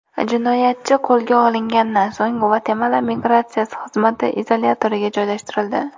Jinoyatchi qo‘lga olingandan so‘ng Gvatemala migratsiya xizmati izolyatoriga joylashtirildi.